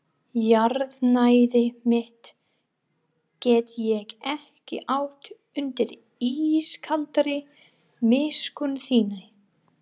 Jarðnæði mitt get ég ekki átt undir ískaldri miskunn þinni.